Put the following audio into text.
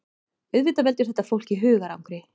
Auðvitað veldur þetta fólki hugarangri